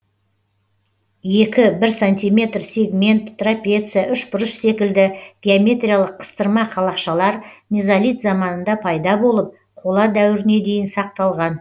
екі бір сантиметр сегмент трапеция үшбұрыш секілді геометриялық қыстырма қалақшалар мезолит заманында пайда болып қола дәуіріне дейін сақталған